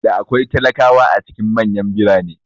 Da akwai talakawa a cikin manyan birane